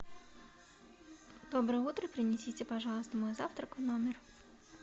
доброе утро принесите пожалуйста мой завтрак в номер